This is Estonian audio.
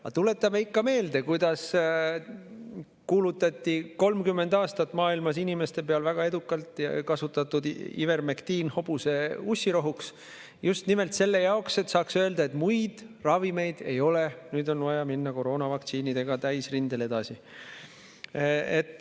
Aga tuletame ikka meelde, kuidas kuulutati 30 aastat maailmas inimeste peal väga edukalt kasutatud ivermektiin hobuse ussirohuks, just nimelt selle jaoks, et saaks öelda, et muid ravimeid ei ole ja nüüd on vaja minna koroonavaktsiinidega täisrindel edasi.